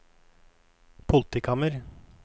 politikammer